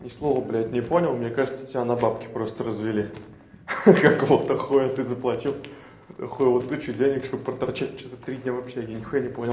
ни слова блядь не понял мне кажется тебя на бабки просто развели хи-хи какого-то хуя ты заплатил хуеву тучу денег чтобы проторчать что-то три дня в общежитии нихуя не понял